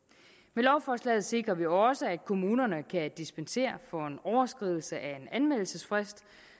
med lovforslaget sikrer vi også at kommunerne kan dispensere for en overskridelse af en anmeldelsesfrist